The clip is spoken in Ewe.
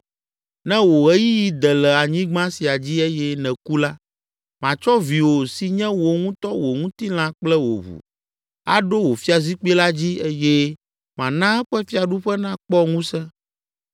Ne wò ɣeyiɣi de le anyigba sia dzi eye nèku la, matsɔ viwò si nye wò ŋutɔ wò ŋutilã kple wò ʋu, aɖo wò fiazikpui la dzi eye mana eƒe fiaɖuƒe nakpɔ ŋusẽ.